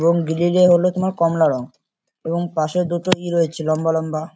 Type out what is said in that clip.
এবং গ্রিল -এ হলো তোমার কমলা রং এবং পাশে দুটো ই রয়েছে লম্বা লম্বা।